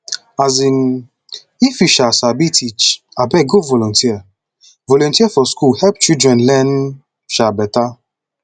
um if you um sabi teach abeg go volunteer volunteer for school help children learn um beta